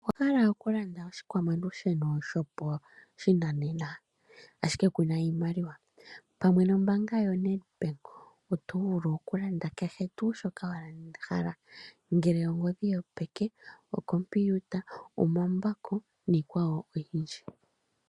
Owa hala okulanda oshikwamalusheno shopashinanena, ashike ku na iimaliwa? Pamwe nombaanga yoNEdbank oto vulu okulanda kehe tuu shoka wa hala, ngele ondohi yopeke, okompiuta, omambako niikwawo oyindji.